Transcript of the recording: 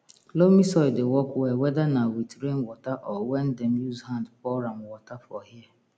loamy soil dey work well weda na with rain water or wen dem use hand pour am water for here